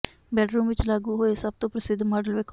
bedroom ਵਿੱਚ ਲਾਗੂ ਹੋਏ ਸਭ ਤੋਂ ਪ੍ਰਸਿੱਧ ਮਾਡਲ ਵੇਖੋ